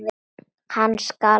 Hann skalf.